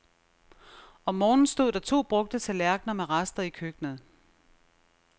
Om morgenen stod der to brugte tallerkener med rester i køkkenet.